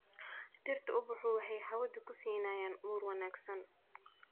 Dhirtu ubaxu waxay hawada ku siinayaan ur wanaagsan.